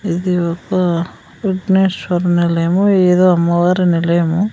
ఇది ఒక విగ్నేశ్వరుని నిలయము ఏదో అమ్మవారి నిలయము.